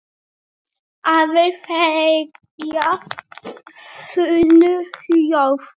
Aðrir þegja þunnu hljóði.